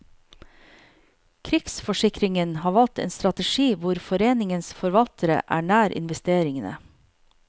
Krigsforsikringen har valgt en strategi hvor foreningens forvaltere er nær investeringene.